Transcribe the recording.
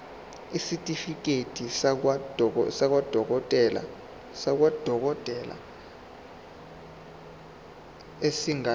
isitifiketi sakwadokodela esingadluli